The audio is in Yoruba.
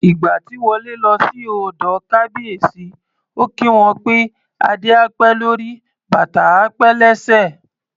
Ìgbà tí Wọlé lọ sí ọ̀dọ̀ Kábíyèsí, ó kí wọn pé "Adé á pẹ́ lórí, bàtà á pẹ́ lẹ́sẹ̀".